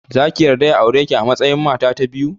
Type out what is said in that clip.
Zaki yarda ya aureki a matsayin mata ta biyu?